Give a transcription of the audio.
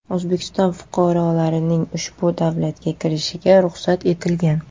O‘zbekiston fuqarolarining ushbu davlatga kirishiga ruxsat etilgan.